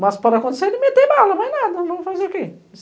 Mas para acontecer, ele meteu bala, mas nada, vamos fazer o quê?